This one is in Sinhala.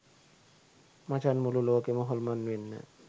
මචන් මුළු ලෝකෙම හොල්මන් වෙන්න